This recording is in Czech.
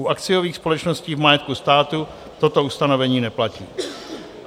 U akciových společností v majetku státu toto ustanovení neplatí.